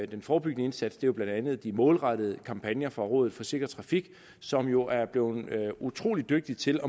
den forebyggende indsats er jo blandt andet de målrettede kampagner fra rådet for sikker trafik som jo er blevet utrolig dygtig til